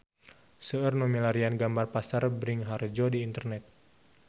Seueur nu milarian gambar Pasar Bringharjo di internet